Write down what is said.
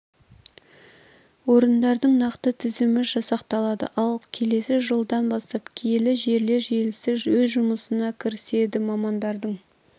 орындардың нақты тізімі жасақталады ал келесі жылдан бастап киелі жерлер желісі өз жұмысына кіріседі мамандардың